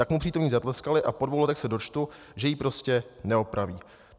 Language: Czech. Tak mu přítomní zatleskali, a po dvou letech se dočtu, že ji prostě neopraví.